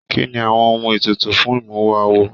Kínní àwọn ohùn ètùtù fún imuwọ̀ awo?